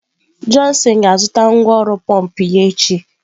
Johnson ga-azụta ngwá ọrụ pọmpụ ya echi.